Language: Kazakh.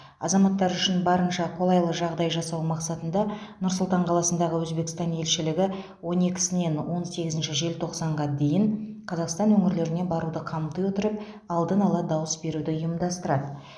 азаматтар үшін барынша қолайлы жағдай жасау мақсатында нұр сұлтан қаласындағы өзбекстан елшілігі он екісінен он сегізінші желтоқсанға дейін қазақстан өңірлеріне баруды қамти отырып алдын ала дауыс беруді ұйымдастырады